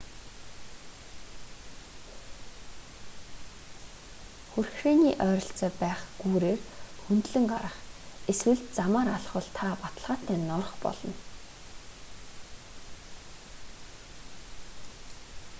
хүрхрээний ойролцоо байх гүүрээр хөндлөн гарах эсвэл замаар алхвал та баталгаатай норох болно